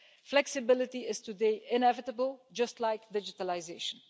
Flexibility is today inevitable, just like digitalisation.